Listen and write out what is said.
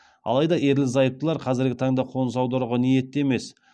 алайда ерлі зайыптылар қазіргі таңда қоныс аударуға ниетті емес